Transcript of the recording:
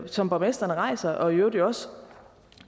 som borgmestrene rejser og i øvrigt jo også